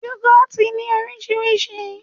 Yoghurt ní oríṣiríṣi